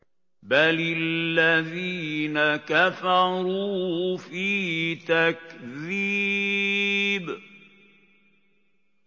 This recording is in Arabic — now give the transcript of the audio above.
بَلِ الَّذِينَ كَفَرُوا فِي تَكْذِيبٍ